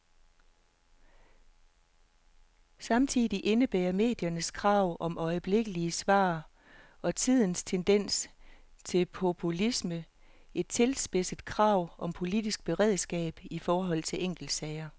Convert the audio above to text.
Samtidig indebærer mediernes krav om øjeblikkelige svar, og tidens tendens til populisme, et tilspidset krav om politisk beredskab i forhold til enkeltsager.